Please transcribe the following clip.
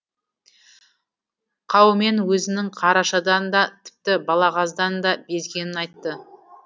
қаумен өзінің қарашадан да тіпті балағаздан да безгенін айтты